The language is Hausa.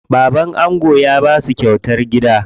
Baban ango ya basu kyautar gida.